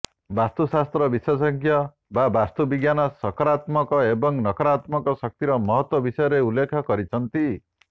ବାସ୍ତୁଶାସ୍ତ୍ର ବିଶେଷଜ୍ଞ ବା ବାସ୍ତୁ ବିଜ୍ଞାନ ସକରାତ୍ମକ ଏବଂ ନକରାତ୍ମକ ଶକ୍ତିର ମହତ୍ତ୍ବ ବିଷୟରେ ଉଲ୍ଲେଖ କରିଛନ୍ତି